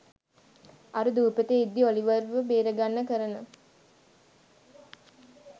අර දූපතේ ඉද්දි ඔලිවර්ව බේරගන්න කරන